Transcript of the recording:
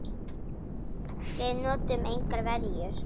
Við notuðum engar verjur.